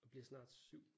Og bliver snart 7